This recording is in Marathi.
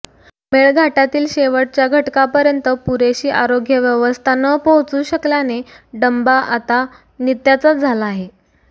मेळघाटातील शेवटच्या घटकापर्यंत पुरेशी आरोग्य व्यवस्था न पोहचू शकल्याने डंबा आता नित्याचाच झाला आहे